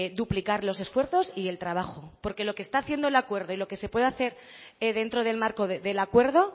duplicar los esfuerzos y el trabajo porque lo que está haciendo el acuerdo y lo que se puede hacer dentro del marco del acuerdo